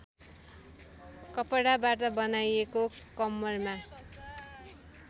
कपडाबाट बनाइएको कम्मरमा